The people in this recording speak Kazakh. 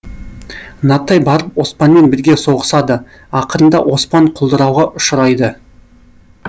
нартай барып оспанмен бірге соғысады ақырында оспан құлдырауға ұшырайды